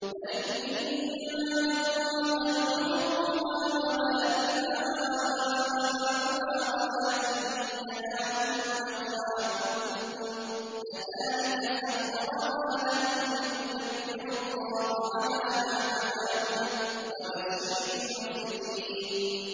لَن يَنَالَ اللَّهَ لُحُومُهَا وَلَا دِمَاؤُهَا وَلَٰكِن يَنَالُهُ التَّقْوَىٰ مِنكُمْ ۚ كَذَٰلِكَ سَخَّرَهَا لَكُمْ لِتُكَبِّرُوا اللَّهَ عَلَىٰ مَا هَدَاكُمْ ۗ وَبَشِّرِ الْمُحْسِنِينَ